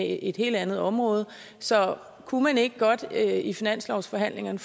et helt andet område så kunne man ikke godt i finanslovsforhandlingerne